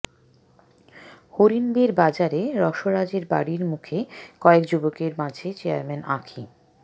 হরিণবেড় বাজারে রসরাজের বাড়ির মুখে কয়েক যুবকের মাঝে চেয়ারম্যান আঁখি